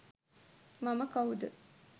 මම කවුද